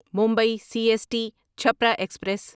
Mumbai C S T Chhapra express